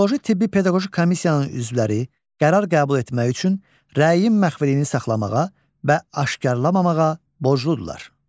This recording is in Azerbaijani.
Psixoloji-tibbi-pedaqoji komissiyanın üzvləri rəy qəbul etmək üçün rəyin məxfiliyini saxlamağa və aşkarlamamağa borcludurlar.